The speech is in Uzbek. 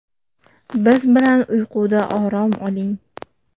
Biz bilan uyquda orom oling!